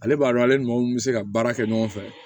Ale b'a dɔn ale ni maa mun be se ka baara kɛ ɲɔgɔn fɛ